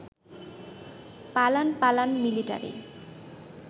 পালান পালান মিলিটারি